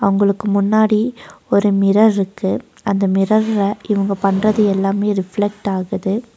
அவங்களுக்கு முன்னாடி ஒரு மிரர் இருக்கு அந்த மிரர்ல இவங்க பண்றது எல்லாமே ரீப்லக்ட் ஆகுது.